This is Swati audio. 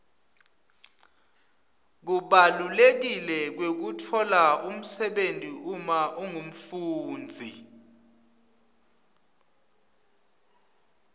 kubaluleka kwekutfola umsebenti uma ungumfundzi